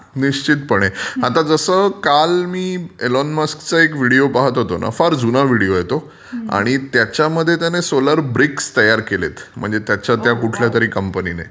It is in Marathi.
निश्चितपणे. आता जसं काल मी एलोन मस्कचा एक विडियो पाहत होतो ना. फार जुना विडियो आहे तो. आणि त्याच्यामध्ये त्याने सोलार ब्रिक्स तयार केल्यात म्हणजे त्याच्या त्या कुठल्या कंपनीने.